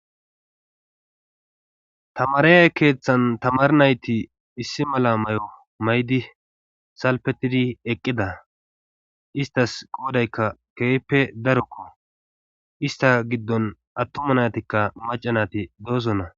Tamareyay keeththan tamar nayti issi mala mayo mayidi salpetidi eqqida istas qoodaykka keehippe darokko ista giddon attuma naatikka maccanati doosonna.